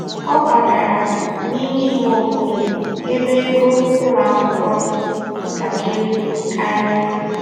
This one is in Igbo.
Ọ kwagara n'ime ime obodo ebe ego ụlọ akwụkwọ dị ntakịrị karịa.